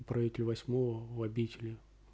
управитель восьмого у обители